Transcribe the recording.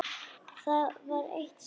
Það var eitt sinn.